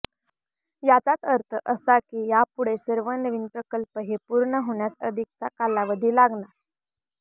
याचाच अर्थ असा की यापुढे सर्व नवीन प्रकल्प हे पूर्ण होण्यास अधिकचा कालावधी लागणार